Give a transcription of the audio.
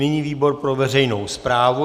Nyní výbor pro veřejnou správu.